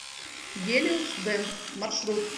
гелиосдент маршрут